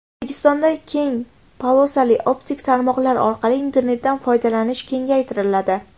O‘zbekistonda keng polosali optik tarmoqlar orqali internetdan foydalanish kengaytiriladi.